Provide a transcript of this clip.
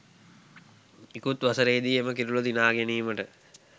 ඉකුත් වසරේදී එම කිරුළ දිනා ගැනීමට